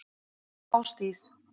Ásdís